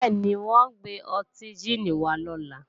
Bẹ́ẹ̀ni, wọ́n ò gbé ọtí jíìnì wá lọ́la